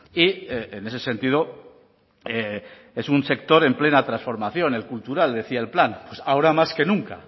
y en ese sentido es un sector en plena transformación el cultural decía el plan pues ahora más que nunca